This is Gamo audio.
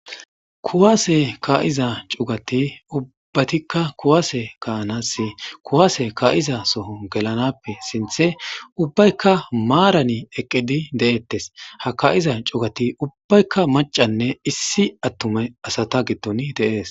Kuwaase ka'iza cugati ubbatikka kuwaase kaanasi kuwaase kaa'iza soho gelanappe sinthe ubbaykka maarani eqqidi de'ettes ha ka'iza cugati ubbaykka macanne issi attume asata giddon de'ees.